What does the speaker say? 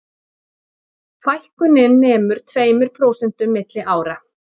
Fækkunin nemur tveimur prósentum milli ára